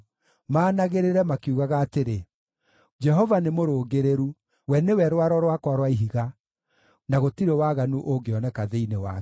maanagĩrĩre, makiugaga atĩrĩ, “Jehova nĩ mũrũngĩrĩru; we nĩwe Rwaro rwakwa rwa Ihiga, na gũtirĩ waganu ũngĩoneka thĩinĩ wake.”